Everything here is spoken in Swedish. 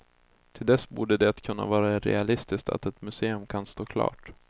Till dess borde det kunna vara realistiskt att ett museum kan stå klart.